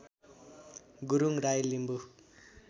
Gurung Rai Limbu